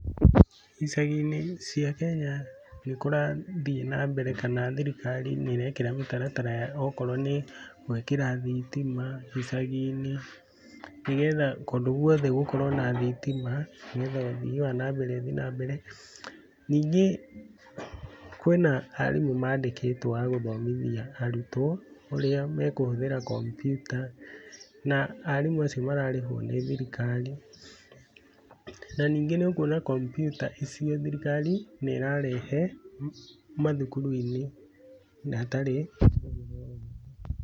Icagi-inĩ cia Kenya nĩ kũrathiĩ na mbere kana thirikari nĩ ĩrekĩra mĩtaratara ya okorwo nĩ gwĩkĩra thitima icagi-inĩ, nĩgetha kũndũ guothe gũkorwo na thitima nĩgetha ũthii wa na mbere ũthiĩ na mbere, ningĩ kwĩna arimũ mandĩkĩtwo a gũthomithia arutwo ũrĩa mekũhũthĩra kompiuta, na arimũ acio mararĩhwo nĩ thirikari, na ningĩ nĩ ũkuona kompiuta icio thirikari nĩ ĩrarehe mathukuru-inĩ hatarĩ, na hatarĩ marĩhi.